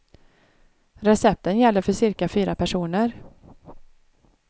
Recepten gäller för cirka fyra personer.